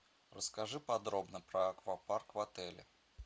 расскажи подробно про аквапарк в отеле